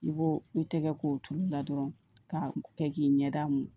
I b'o i tɛgɛ k'o tulu la dɔrɔn ka kɛ k'i ɲɛda mun